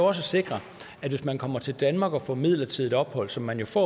at sikre at hvis man kommer til danmark og får midlertidigt ophold som man jo får